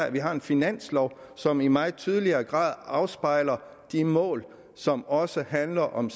at vi har en finanslov som i meget tydeligere grad afspejler de mål som også handler om